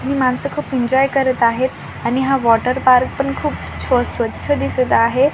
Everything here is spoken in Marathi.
माणसं खूप एन्जॉय करत आहेत आणि हा वॉटरपार्क पण खूप छ स्वच्छ दिसत आहे.